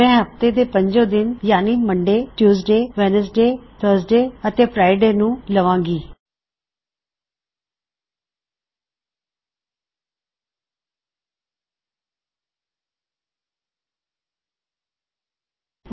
ਮੈਂ ਸੋਮਵਾਰਮੰਗਲਵਾਰਬੁੱਧਵਾਰਵੀਰਵਾਰ ਅਤੇ ਸ਼ੁੱਕਰਵਾਰ ਨੂੰ ਲਵਾਂਗਾ mondaytuesdaywednesdayਥਰਸਡੇ ਐਂਡ ਫ੍ਰੀਡੇ ਹਫਤੇ ਦੇ ਸਿਰਫ ਪੰਜ ਦਿਨ